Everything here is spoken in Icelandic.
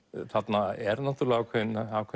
þarna er náttúrulega ákveðið